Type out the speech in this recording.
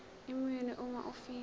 iminwe uma ufika